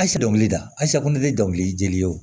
A si dɔnkilida a siyo de ye dɔnkili dili ye